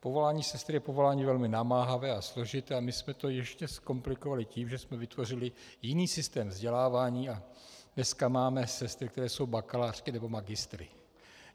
Povolání sestry je povolání velmi namáhavé a složité a my jsme to ještě zkomplikovali tím, že jsme vytvořili jiný systém vzdělávání, a dneska máme sestry, které jsou bakalářky nebo magistry.